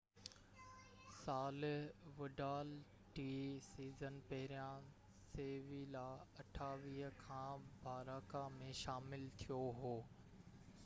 28 ساله وڊال ٽي سيزن پهريان سيويلا کان باراڪا ۾ شامل ٿيو هو